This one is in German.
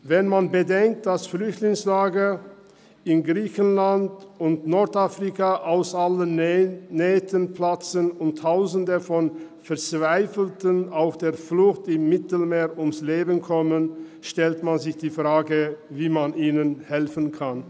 Wenn man bedenkt, dass Flüchtlingslager in Griechenland und Nordafrika aus allen Nähten platzen und Tausende von Verzweifelten auf der Flucht im Mittelmeer ums Leben kommen, stellt man sich die Frage, wie man ihnen helfen kann.